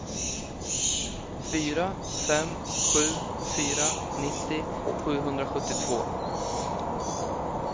fyra fem sju fyra nittio sjuhundrasjuttiotvå